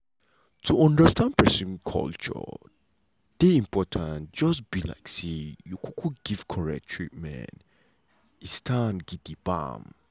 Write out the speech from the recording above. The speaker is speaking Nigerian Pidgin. to understand pesin culture dey important just um like say you um give corret treatment. um um